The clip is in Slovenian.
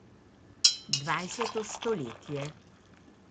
Dvajseto stoletje.